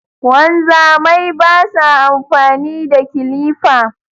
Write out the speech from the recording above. Wanzamai basa amfani da kilifa